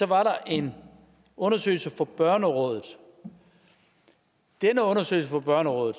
var en undersøgelse fra børnerådet den undersøgelse fra børnerådet